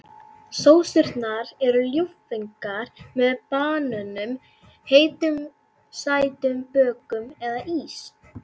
Sósurnar eru ljúffengar með banönum, heitum sætum bökum eða ís.